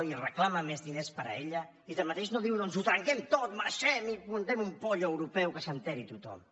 i reclama més diners per a ella i tanmateix no diu doncs ho trenquem tot marxem i muntem un pollo europeu que s’enteri tothom